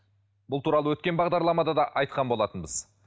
бұл туралы өткен бағдарламада да айтқан болатынбыз